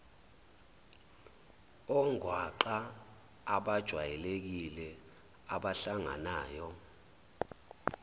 ongwaqa abajwayelekile abahlanganayo